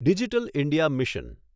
digital India mission